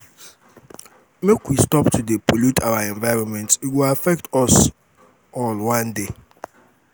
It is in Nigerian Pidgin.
make we stop to dey pollute our environment e go affect us all one day